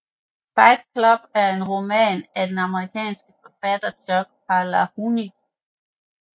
Fight Club er en roman af den amerikanske forfatter Chuck Palahniuk